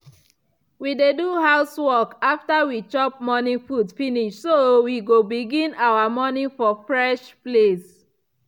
we dey do house work after we chop morning food finish so we go begin our morning for fresh place.